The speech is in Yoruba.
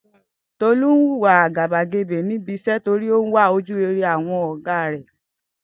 Tolú ń wùwà àgàbàgebè ní ibi is̩é̩ torí pé ó ń wá ojú-rere ò̩gá rè̩